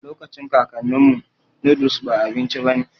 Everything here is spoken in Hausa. Lokacin kakaninmu, noodles ba abinci bane